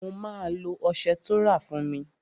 Mo máa lo ọsẹ tó rà fún mi